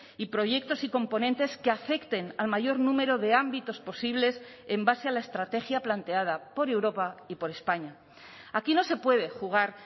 y proyectos y componentes que afecten al mayor número de ámbitos posibles en base a la estrategia planteada por europa y por españa aquí no se puede jugar